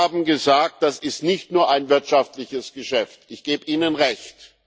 Sie haben gesagt Das ist nicht nur ein wirtschaftliches Geschäft ich gebe Ihnen Recht.